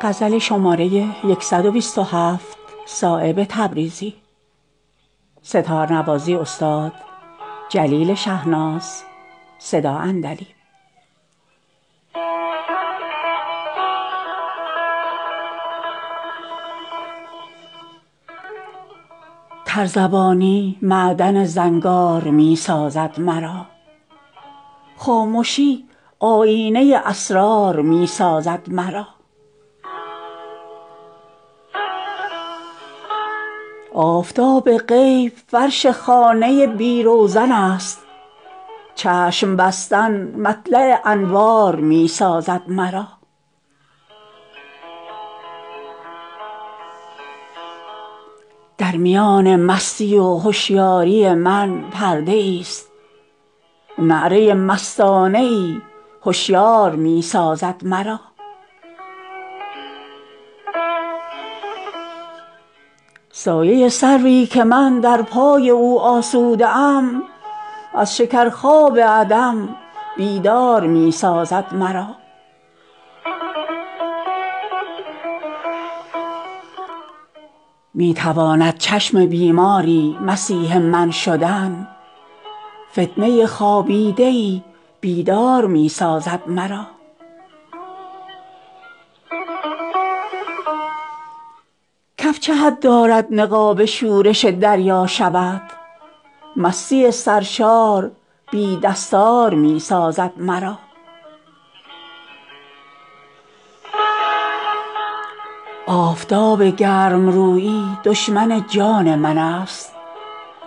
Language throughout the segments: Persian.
تر زبانی معدن زنگار می سازد مرا خامشی آیینه اسرار می سازد مرا آفتاب غیب فرش خانه بی روزن است چشم بستن مطلع انوار می سازد مرا در میان مستی و هشیاری من پرده ای است نعره مستانه ای هشیار می سازد مرا سایه سروی که من در پای او آسوده ام از شکر خواب عدم بیدار می سازد مرا می تواند چشم بیماری مسیح من شدن فتنه خوابیده ای بیدار می سازد مرا کف چه حد دارد نقاب شورش دریا شود مستی سرشار بی دستار می سازد مرا آفتاب گرم رویی دشمن جان من است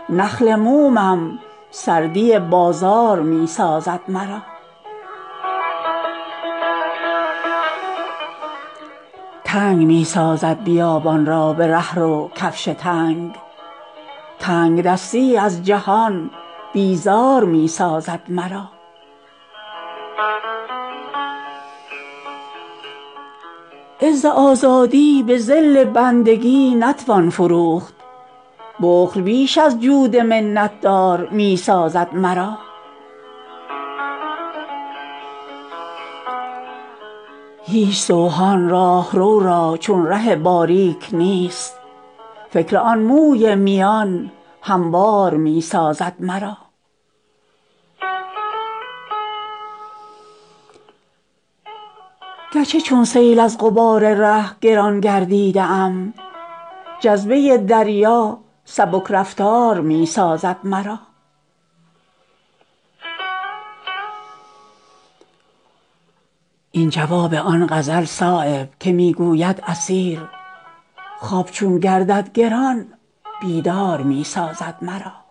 نخل مومم سردی بازار می سازد مرا تنگ می سازد بیابان را به رهرو کفش تنگ تنگدستی از جهان بیزار می سازد مرا عز آزادی به ذل بندگی نتوان فروخت بخل بیش از جود منت دار می سازد مرا هیچ سوهان راهرو را چون ره باریک نیست فکر آن موی میان هموار می سازد مرا گرچه چون سیل از غبار ره گران گردیده ام جذبه دریا سبک رفتار می سازد مرا این جواب آن غزل صایب که می گوید اسیر خواب چون گردد گران بیدار می سازد مرا